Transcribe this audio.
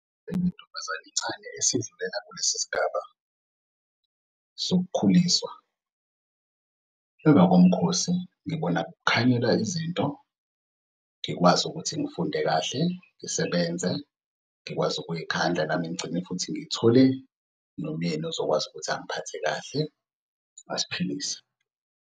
esidlulela kulesi sigaba sokukhuliswa. Emva komkhosi ngibona kukhanyela izinto ngikwazi ukuthi ngifunde kahle, ngisebenze, ngikwazi ukuzikhandla nami ngigcine futhi ngithole nomyeni ozokwazi ukuthi angiphathe kahle asiphilise.